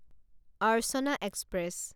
Archana express